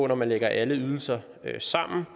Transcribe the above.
når man lægger alle ydelser sammen